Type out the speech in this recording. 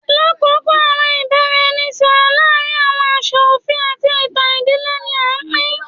Lakoko awọn ibaraẹnisọrọ laarin awọn aṣa ofin ati itan idile ni a pin